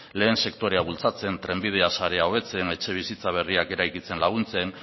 lehen sektorea bultzatzen trenbidea sarea hobetzen etxebizitza berriak eraikitzen laguntzen